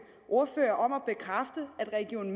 ordfører om at bekræfte at region